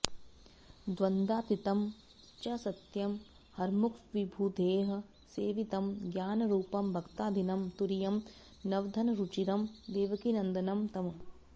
द्वन्द्वातीतं च सत्यं हरमुखविबुधैः सेवितं ज्ञानरूपं भक्ताधीनं तुरीयं नवघनरुचिरं देवकीनन्दनं तम्